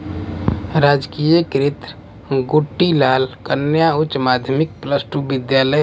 राजकीय कृत गुट्टीलाल कन्या उच्च माध्यमिक प्लस टू विद्यालय--